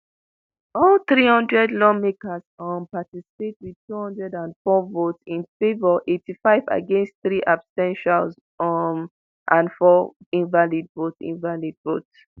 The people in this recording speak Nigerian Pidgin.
all three hundred lawmakers um participate wit two hundred and four votes in favor eighty-five against three abs ten tials um and four invalid votes invalid votes